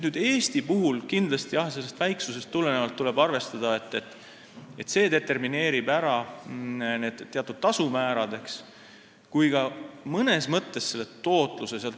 Eesti puhul tuleb kindlasti väiksusest tulenevalt arvestada, et see determineerib ära nii need teatud tasumäärad kui ka mõnes mõttes selle tootluse.